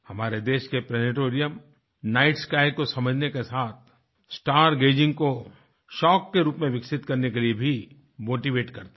हमारे देश के प्लैनेटेरियम नाइट स्काई को समझने के साथ स्टार गेजिंग को शौक के रूप में विकसित करने के लिए भी मोटीवेट करते हैं